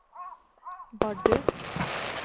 Bardu